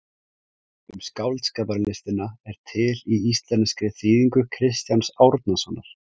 Um skáldskaparlistina er til í íslenskri þýðingu Kristjáns Árnasonar.